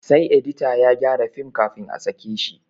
Sai edita ya gyara film kafin a sake shi